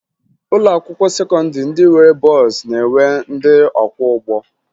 Ụlọakwụkwọ sekọndịrị ndị nwere bọọsụ na-enwe ndị ọkwọụgbọ